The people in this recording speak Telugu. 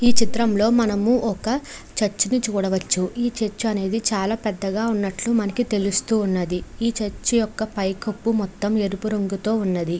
ఈ చిత్రంలో మనము ఒక చర్చి ని చూడవచ్చు. ఈ చర్చ్ అనేది చాలా పెద్దగా ఉన్నట్లు మనకి తెలుస్తూ ఉన్నది. ఈ చర్చి యొక్క పై కప్పు మొత్తం ఎరుపు రంగుతో ఉన్నది.